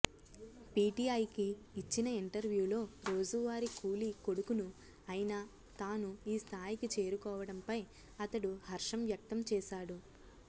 పీటీఐకి ఇచ్చిన ఇంటర్యూలో రోజువారి కూలీ కొడుకును అయిన తాను ఈ స్థాయికి చేరుకోవడంపై అతడు హర్షం వ్కక్తం చేశాడు